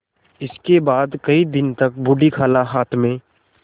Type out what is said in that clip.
इसके बाद कई दिन तक बूढ़ी खाला हाथ में